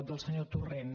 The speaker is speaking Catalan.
del senyor torrent